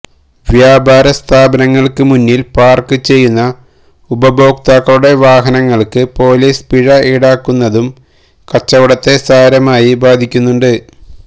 വ്യാപാര സ്ഥാപനങ്ങള്ക്ക് മുന്നില് പാര്ക്ക് ചെയ്യുന്ന ഉപഭോക്താക്കളുടെ വാഹനങ്ങള്ക്ക് പോലീസ് പിഴ ഈടാക്കുന്നതും കച്ചവടത്തെ സാരമായി ബാധിക്കുന്നുണ്ട്